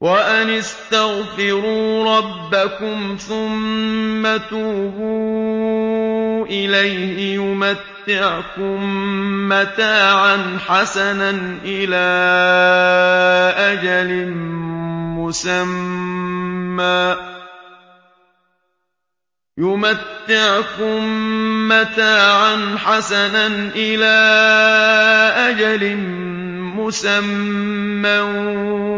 وَأَنِ اسْتَغْفِرُوا رَبَّكُمْ ثُمَّ تُوبُوا إِلَيْهِ يُمَتِّعْكُم مَّتَاعًا حَسَنًا إِلَىٰ أَجَلٍ مُّسَمًّى